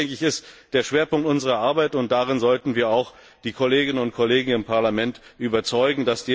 Das ist der Schwerpunkt unserer Arbeit, und davon sollten wir auch die Kolleginnen und Kollegen im Parlament überzeugen.